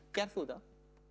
gerð þú þetta